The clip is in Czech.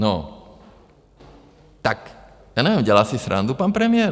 No, tak já nevím - dělá si srandu pan premiér?